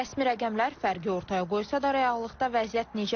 Rəsmi rəqəmlər fərqi ortaya qoysa da, reallıqda vəziyyət necədir?